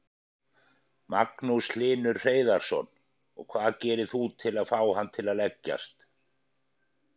Magnús Hlynur Hreiðarsson: Og hvað gerir þú til að fá hann til að leggjast?